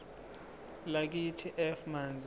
lakithi f manzi